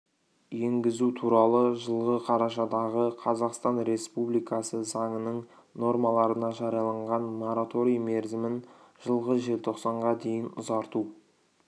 енгізу туралы жылғы қарашадағы қазақстан республикасы заңының нормаларына жарияланған мораторий мерзімін жылғы желтоқсанға дейін ұзарту